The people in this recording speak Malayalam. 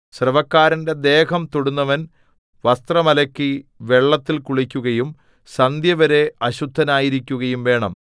സ്രവക്കാരന്റെ ദേഹം തൊടുന്നവൻ വസ്ത്രം അലക്കി വെള്ളത്തിൽ കുളിക്കുകയും സന്ധ്യവരെ അശുദ്ധനായിരിക്കുകയും വേണം